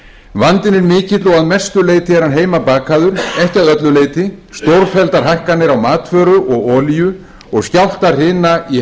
vandinn er mikill og að mestu leyti er hann heimabakaður ekki að öllu leyti stórfelldar hækkanir á matvöru og olíu og skjálftahrina í